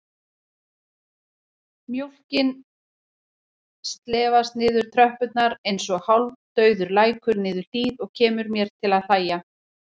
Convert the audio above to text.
Mjólkin slefast niður tröppurnar einsog hálfdauður lækur niður hlíð og kemur mér til að hlæja.